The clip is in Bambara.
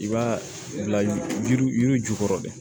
I b'a bila yiri yiri yiri ju kɔrɔ de